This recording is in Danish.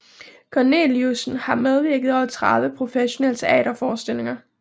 Corneliussen har medvirket i over 30 professionelle teaterforestillinger